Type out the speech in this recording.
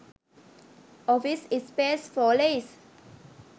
office space for lease